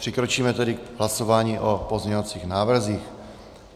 Přikročíme tedy k hlasování o pozměňovacích návrzích.